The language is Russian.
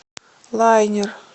лайнер